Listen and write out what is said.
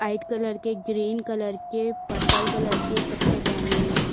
White colour के green colour के purple colour के कपड़े पहने हुए हैं।